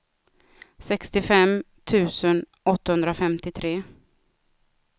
sextiofem tusen åttahundrafemtiotre